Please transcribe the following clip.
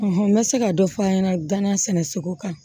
n bɛ se ka dɔ fɔ an ɲɛna gana sɛnɛ sogo kan